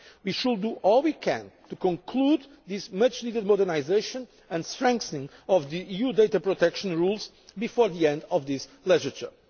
file. We should do all we can to conclude this much needed modernisation and strengthening of the EU data protection rules before the end of this legislature.